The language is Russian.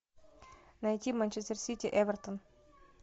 найти манчестер сити эвертон